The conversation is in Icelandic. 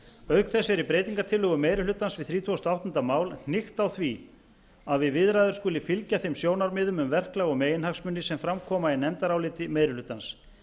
auk þess er í breytingartillögum meiri hlutans við þrítugustu og áttunda mál hnykkt á því að við viðræður skuli fylgja þeim sjónarmiðum um verklag og meginhagsmuni sem fram koma í nefndaráliti meiri hlutans